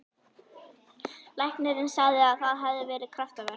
Læknirinn sagði að það hefði verið kraftaverk.